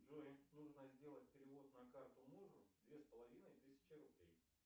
джой нужно сделать перевод на карту мужу две с половиной тысячи рублей